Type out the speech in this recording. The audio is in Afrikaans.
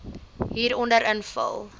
hieronder invul